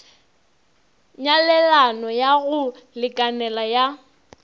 nyalelano ya go lekanela ya